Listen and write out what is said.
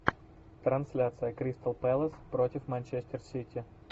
трансляция кристал пэлас против манчестер сити